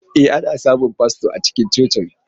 E, ana samun fasto a cikin coci.